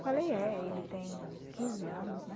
Falei, é, ele tem quinze anos, né?